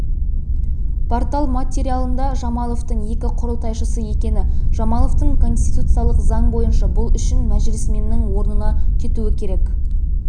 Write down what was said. портал материалында жамаловтың екі құрылтайшысы екені және жамаловтың конституциялық заң бойынша бұл үшін мәжілісменнің орнына кетуікерек